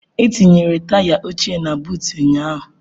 E tinyere taya ochie na buut ụnyaahụ.